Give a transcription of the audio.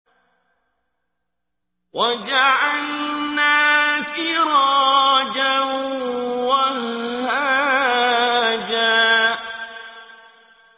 وَجَعَلْنَا سِرَاجًا وَهَّاجًا